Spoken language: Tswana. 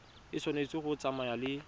e tshwanetse go tsamaya le